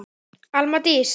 Alma Dís.